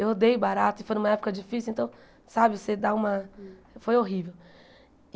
Eu odeio barata e foi numa época difícil, então, sabe, você dá uma... foi horrível.